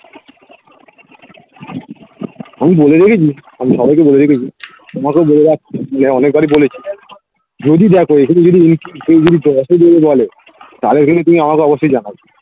আমি বলে রেখেছি আমি সবাইকে বলে রেখেছি তোমাকেও বলে রাখছি যে অনেকবারই বলেছি যদি দেখো এখানে যদি কেউ যদি দশ ও দেবে বলে তাহলে কিন্তু তুমি আমাকে অবশ্যই জানাবে